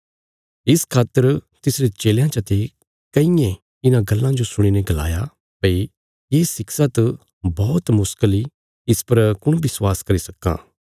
इस खातर तिसरे चेलयां चते कईयें इन्हां गल्लां जो सुणीने गलाया भई ये शिक्षा त बौहत मुश्कल इ इस पर कुण विश्वास करी सक्कां